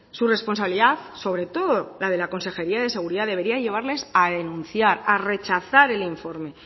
su responsabilidad sobre todo la de la consejería de seguridad debería de llevarles a denunciar a rechazar el informe